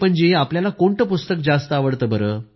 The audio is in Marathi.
प्रधानमंत्रीः आपल्याला कोणतं पुस्तक जास्त आवडतं